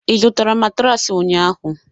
ị zụtara matraasi ụnyaahụ?